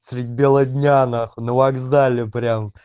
средь белого дня на хуй на вокзале прям